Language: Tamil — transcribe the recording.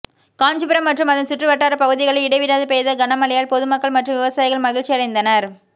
காஞ்சிபுரம் மற்றும் அதன் சுற்று வட்டார பகுதிகளில் இடைவிடாது பெய்த கனமழையால் பொதுமக்கள் மற்றும் விவசாயிகள் மகிழ்ச்சியடைந்தனர்